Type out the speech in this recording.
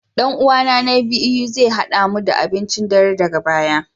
Dan uwana na biyu zai hada mu da abincin dare daga baya